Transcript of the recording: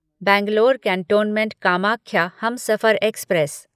Bangalore cantonment Kamakhya Humsafar express